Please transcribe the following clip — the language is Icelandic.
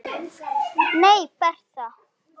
Nei, Bertha.